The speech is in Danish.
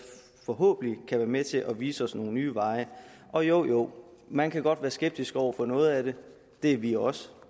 forhåbentlig kan være med til at vise os nogle nye veje og jo man kan godt være skeptisk over for noget af det det er vi også